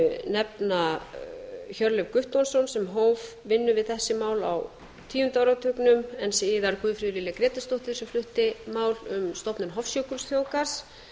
nefna hjörleif guttormsson sem hóf vinnu við þessi mál á tíunda áratugnum en síðar guðfríði lilju grétarsdóttur sem flutti þessi mál um stofnun hofsjökulsþjóðgarðs